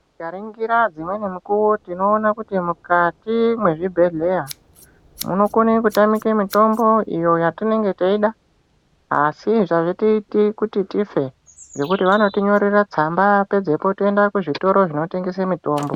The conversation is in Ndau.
Tikaringira dzimweni mukuwo tinoona kuti mukati mezvibhedhleya munokone kutamike mitombo iyo yatinenge teida. Asi hazvitiiti kuti tife, ngekuti vanotinyorera tsamba pedzepo , toenda kuzvitoro zvinotengesa mitombo.